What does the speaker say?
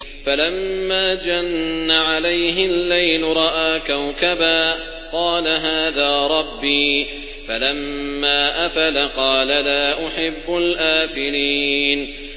فَلَمَّا جَنَّ عَلَيْهِ اللَّيْلُ رَأَىٰ كَوْكَبًا ۖ قَالَ هَٰذَا رَبِّي ۖ فَلَمَّا أَفَلَ قَالَ لَا أُحِبُّ الْآفِلِينَ